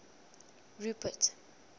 rupert